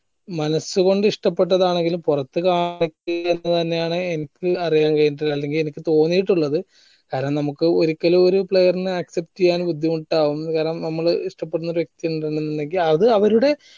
മനസ്സ് കൊണ്ട് ഇഷ്ട്ടപ്പെട്ടതാണെങ്കിലും പൊറത്ത് തന്നെ ആണ് എനിക്ക് അറിയാം കയിഞ്ഞിട്ടില്ലത് അല്ലെങ്കിൽ എനിക്ക് തോന്നിട്ടില്ലത് അല്ലെങ്കിൽ നമുക്ക് ഒരിക്കല് ഒരു player നെ accept ചെയ്യാൻ ബുദ്ധിമുട്ടാകും കാരണം നമ്മള് ഇഷ്ട്ടപ്പെടുന്ന ഒരു വ്യക്തി ഇണ്ട് എന്നിണ്ടെങ്കില് അത് അവരുടെ